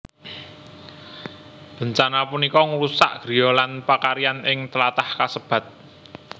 Bencana punika ngrusak griya lan pakaryan ing tlatah kasebat